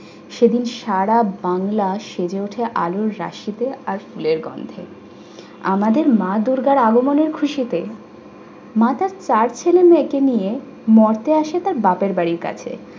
সেদিন সারা বাংলা সেজে ওঠে আলোর রাশিতে আর ফুলের গন্ধে। আমাদের মা দুর্গার আগমনের খুশিতে মা তার চার ছেলে মেয়েকে নিয়ে মর্তে আসে তার বাপের বাড়ির কাছে।